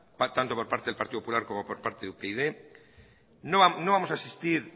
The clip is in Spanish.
pactando por parte del partido popular como por parte de upyd no vamos a asistir